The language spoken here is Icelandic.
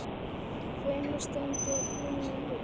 Hennar stund er runnin upp.